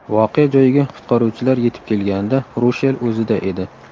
Voqea joyiga qutqaruvchilar yetib kelganida Rushel o‘zida edi.